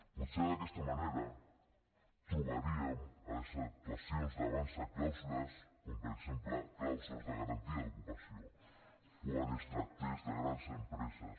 potser d’aquesta manera trobaríem a les actuacions d’avançsa clàusules com per exemple clàusules de garantia d’ocupació quan es tractés de grans empreses